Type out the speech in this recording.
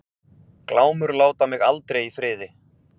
Glámur láta mig aldrei í friði.